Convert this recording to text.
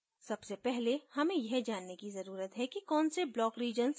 सबसे पहले हमें यह जानने की जरूरत है कि कौन से block regions क्या करते हैं